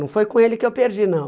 Não foi com ele que eu perdi, não.